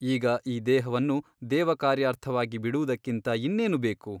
ಈಗ ಈ ದೇಹವನ್ನು ದೇವಕಾರ್ಯಾರ್ಥವಾಗಿ ಬಿಡುವುದಕ್ಕಿಂತ ಇನ್ನೇನು ಬೇಕು ?